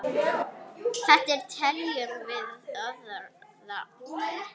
Þetta teljum við óþarft.